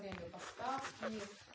время доставки